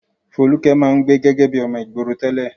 Folúkẹ́ máa ń gbé gẹ́gẹ́ bí ọmọ ìgboro tẹ́lẹ̀.